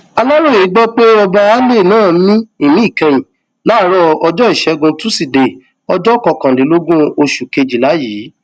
aláròye gbọ pé ọba alay náà mí ìmí ìkẹyìn láàárọ ọjọ ìṣẹgun túṣídéé ọjọ kọkànlélógún oṣù kejìlá yìí